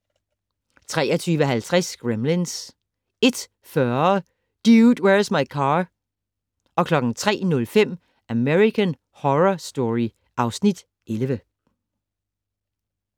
23:50: Gremlins 01:40: Dude, Where's My Car? 03:05: American Horror Story (Afs. 11)